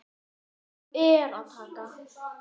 Af nógu er að taka.